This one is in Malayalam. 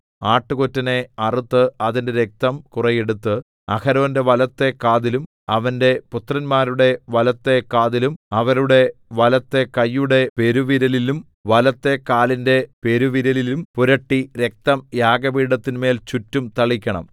ആട്ടുകൊറ്റനെ അറുത്ത് അതിന്റെ രക്തം കുറെ എടുത്ത് അഹരോന്റെ വലത്തെ കാതിലും അവന്റെ പുത്രന്മാരുടെ വലത്തെ കാതിലും അവരുടെ വലത്തെ കയ്യുടെ പെരുവിരലിലും വലത്തെ കാലിന്റെ പെരുവിരലിലും പുരട്ടി രക്തം യാഗപീഠത്തിന്മേൽ ചുറ്റും തളിക്കണം